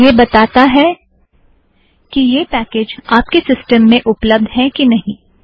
यह बताता है कि यह पैकेज़ आप के सिस्टम में उपलब्द है की नहीं